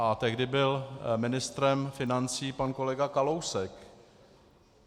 A tehdy byl ministrem financí pan kolega Kalousek.